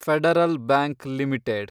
federal Bank limited